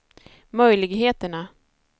möjligheterna